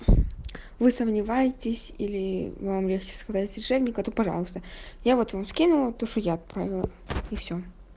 вы сомневаетесь или вам легче сказать решебник карту пожалуйста я вот вам скинула то что я отправила и всё